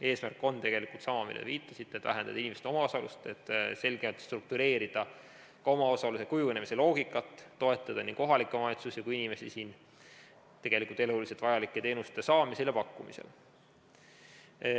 Eesmärk on tegelikult sama, millele te viitasite, et vähendada inimeste omaosalust, selgelt struktureerida ka omaosaluse kujunemise loogikat, toetada nii kohalikke omavalitsusi kui ka inimesi eluliselt vajalike teenuste saamisel ja pakkumisel.